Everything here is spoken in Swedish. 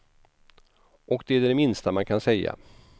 Och det är det minsta man kan säga.